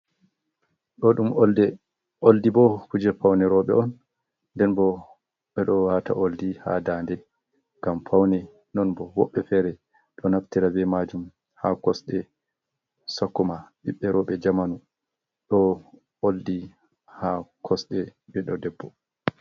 Ɗo ɗum olde, oldi bo kuje paune roɓe on nden bo ɓeɗo wata oldi ha daande ngam paune, nonbo woɓɓe fere ɗo naftira be majum ha kosɗe sakkoma ɓiɓɓe roɓe jamanu, ɗo oldi ha kosɗe ɓiɗɗo debbo.